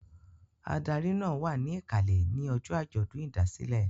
Adarí náà wà ní ìkàlẹ̀ ní ọjọ́ àjọ̀dún ìdásílẹ̀.